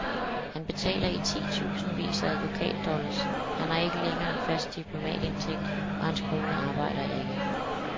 Han betaler i titusindvis af advokatdollars, han har ikke længere en fast diplomatindtægt, og hans kone arbejder ikke.